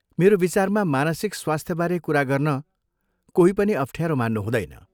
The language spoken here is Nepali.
मेरो विचारमा मानसिक स्वास्थ्यबारे कुरा गर्न कोही पनि अफ्ठ्यारो मान्नु हुँदैन।